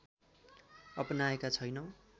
अपनाएको छैनौं